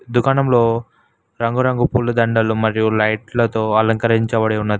దుకాణంలో రంగురంగు ఫుల్లు దండాలు మరియు లైట్లతో అలంకరించబడి ఉన్నది.